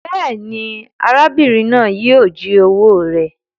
Béèni, arábìrin náà yio ji owó rẹ